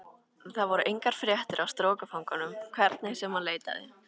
Þar voru engar fréttir af strokufanganum hvernig sem hann leitaði.